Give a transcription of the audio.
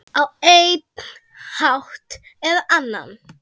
Á einn hátt eða annan.